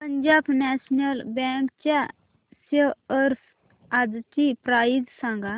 Punjab national bank च्या shares आजची price सांगा